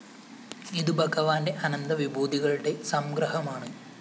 ഇതു ഭഗവാന്റെ അനന്ത വിഭൂതികളുടെ സംഗ്രഹമാണ്